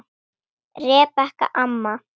Rebekka amma.